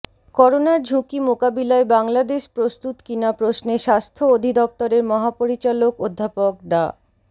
করোনার ঝুঁকি মোকাবিলায় বাংলাদেশ প্রস্তুত কিনা প্রশ্নে স্বাস্থ্য অধিদফতরের মহাপরিচালক অধ্যাপক ডা